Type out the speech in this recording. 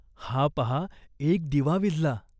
हा पाहा एक दिवा विझला.